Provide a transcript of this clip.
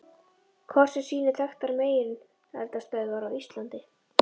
Kort sem sýnir þekktar megineldstöðvar á Íslandi.